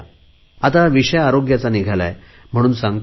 आता आरोग्याचा विषय निघालाय म्हणून सांगतो